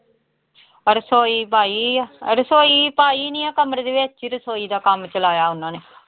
ਰਸੌਈ ਪਾਈ ਹੋਈ ਆ, ਰਸੌਈ ਪਾਈ ਨੀ ਹੈ ਕਮਰੇ ਦੇ ਵਿੱਚ ਹੀ ਰਸੌਈ ਦਾ ਕੰਮ ਚਲਾਇਆ ਉਹਨਾਂ ਨੇ।